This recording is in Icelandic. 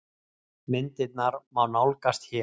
Myndirnar má nálgast hér